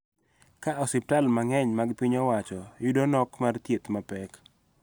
Ka osiptal mang�eny mag piny owacho yudo nok mar thieth mapek